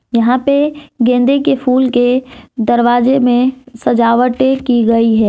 यहां पे गेंदे के फूल के दरवाजे में सजावटे की गई है।